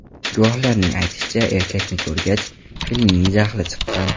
Guvohlarning aytishicha, erkakni ko‘rgach, filning jahli chiqqan.